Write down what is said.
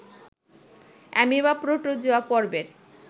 amoeba protozoa পর্বের